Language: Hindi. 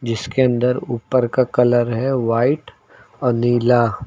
जिसके अंदर ऊपर का कलर है व्हाइट और नीला।